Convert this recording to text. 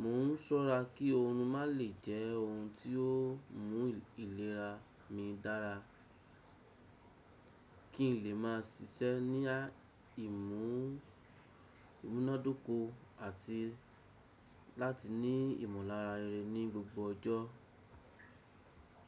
Mo n ṣọ́ra kí oorun má lè jẹ́ ohun tí ó mú ìlera mi dára, kí n lè máa ṣiṣẹ́ ní imu--ìmúnádóko àti láti ní ìmọ̀lára rere ní gbogbo ọjọ́.